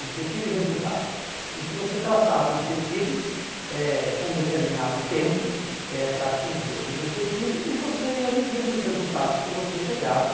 objetivo e resultado, em que você traçava objetivos eh com determinado tempo eh para atingir aquele objetivo e você ia medindo os resultados que você chegava.